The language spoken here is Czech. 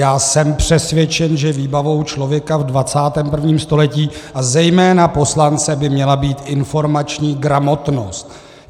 Já jsem přesvědčen, že výbavou člověka v 21. století, a zejména poslance, by měla být informační gramotnost.